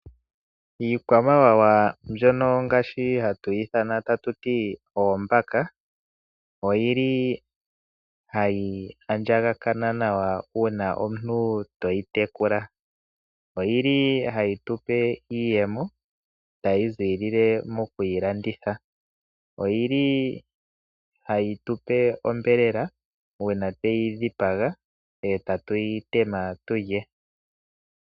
Iikwamawawa mbyono ngaashi hatu yi ithana tatu ti oombaka, ohayi andjakana nawa uuna omuntu to yi tekula. Ohayi tu pe iiyemo tayi ziilile mokuyi landitha. Ohayi tu pe onyama uuna tweyi dhipaga e tatu yi tema tu lye.